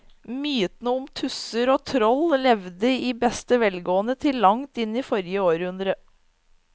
Mytene om tusser og troll levde i beste velgående til langt inn i forrige århundre.